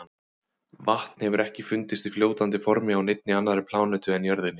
Vatn hefur ekki fundist í fljótandi formi á neinni annarri plánetu en jörðinni.